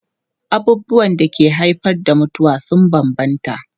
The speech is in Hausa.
Abubuwan da ke haifar da mutuwa sun bambanta.